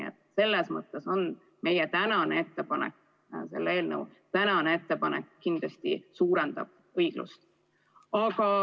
Aga selles mõttes meie eelnõu tänane ettepanek kindlasti suurendab õiglust.